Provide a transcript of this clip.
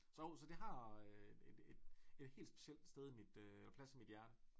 Så jo så det har et et et helt specielt sted i mit og plads i mit hjerte